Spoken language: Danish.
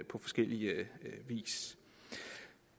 på forskellig vis